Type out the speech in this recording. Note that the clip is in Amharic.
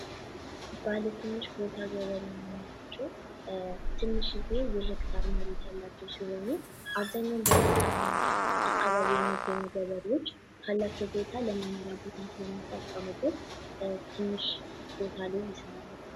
ባትንሽ ቦታ ገበሬ የምንላቸው ብዙውን ጊዜ ትንሽ ሄክታር መሬት ያላቸው ሲሆኑ አብኛው በገጠር አካባቢ የሚኖሩ ገበሬዎች ካላቸው ቦታ ለመኖሪያ ቦታም ስለሚጠቀሙበት ትንሽ ቦታ ላይም ይሰራሉ።